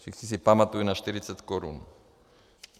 Všichni si pamatují na 40 korun.